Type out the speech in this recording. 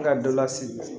Ka dɔ lase